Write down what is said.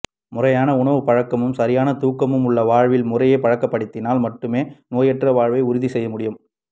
முறையான உணவுப் பழக்கமும் சரியான தூக்கமும் உள்ள வாழ்வியல் முறையை பழக்கப்படுத்தினால் மட்டுமே நோயற்ற வாழ்வை உறுதி செய்ய முடியு